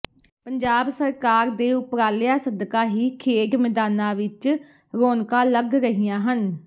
ਪੰਜਾਬ ਸਰਕਾਰ ਦੇ ਉਪਰਾਲਿਆ ਸਦਕਾ ਹੀ ਖੇਡ ਮੈਦਾਨਾ ਵਿੱਚ ਰੋਣਕਾ ਲੱਗ ਰਹੀਆਂ ਹਨ